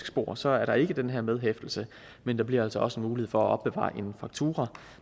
spor så er der ikke den her medhæftelse men der bliver altså også mulighed for at opbevare en faktura